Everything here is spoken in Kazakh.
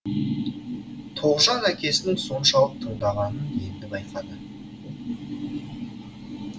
тоғжан әкесінің соншалық тыңдағанын енді байқады